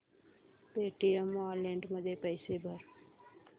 Paytm wallet मध्ये पैसे भर